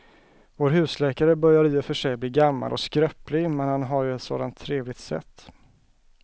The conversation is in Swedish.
Vår husläkare börjar i och för sig bli gammal och skröplig, men han har ju ett sådant trevligt sätt!